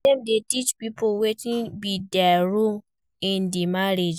Dem de teach pipo wetin be their role in di marriage